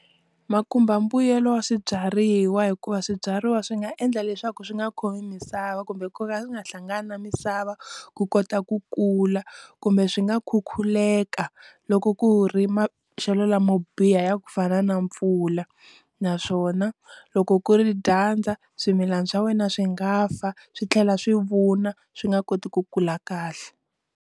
Ma khumba mbuyelo wa swibyariwa hikuva swibyariwa swi nga endla leswaku swi nga khomi misava kumbe ku ka ku nga hlangani na misava ku kota ku kula, kumbe swi nga khukhuleka loko ku ri maxelo lamo biha ya ku fana na mpfula naswona loko ku ri dyandza swimilana swa wena swi nga fa swi tlhela swi vuna swi nga koti ku kula kahle.